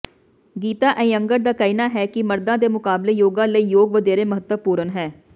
ਗੀਤਾ ਏਇੰਗਰ ਦਾ ਕਹਿਣਾ ਹੈ ਕਿ ਮਰਦਾਂ ਦੇ ਮੁਕਾਬਲੇ ਯੋਗਾ ਲਈ ਯੋਗ ਵਧੇਰੇ ਮਹੱਤਵਪੂਰਣ ਹੈ